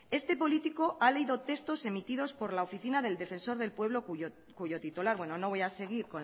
este político ha leído textos emitidos por la oficina del defensor del pueblo cuyo titular bueno no voy a seguir